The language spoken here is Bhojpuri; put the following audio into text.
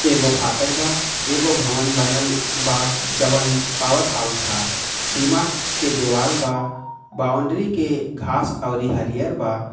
एगो फटाक बा एगो भवन बनल बा जवन पावर हाउस हा सीमा के दिवाल बा बाउंड्री के घास और हरी हल बा।